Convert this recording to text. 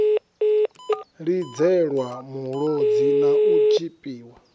lidzelwa mulodzi na u tshipiwa